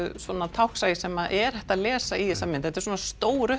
táknsæi sem er hægt að lesa í þessa mynd þetta er svona stór